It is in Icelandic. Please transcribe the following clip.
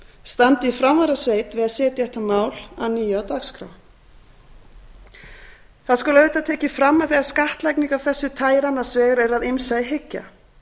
standi í framvarðasveit við að setja þetta mál að nýju á dagskrá það skal auðvitað tekið fram að þegar skattlagning af þessu tagi er annars vegar er að ýmsu að hyggja